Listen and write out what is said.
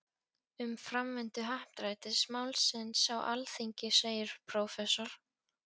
Um framvindu happdrættis-málsins á Alþingi segir prófessor